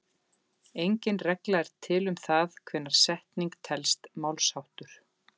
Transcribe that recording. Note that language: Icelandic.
Engin regla er til um það hvenær setning telst málsháttur.